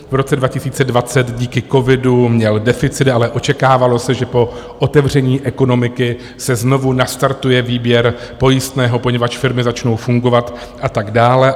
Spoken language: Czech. V roce 2020 díky covidu měl deficit, ale očekávalo se, že po otevření ekonomiky se znovu nastartuje výběr pojistného, poněvadž firmy začnou fungovat a tak dále.